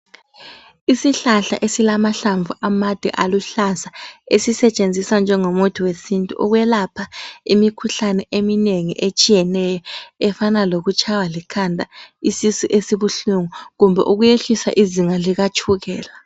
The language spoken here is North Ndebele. Isihlahla esilamahlamvu amade aluhlaza. Esisetshenziswa njengomuthi wesintu ukwelapha imikhuhlane eminengi etshiyeneyo efana lokutshaywa likhanda, isisu esibuhlungu kumbe ukuyehlisa izinga likatshukela.